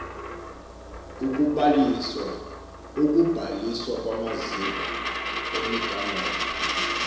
ukubhaliswa kwamaziko emigangatho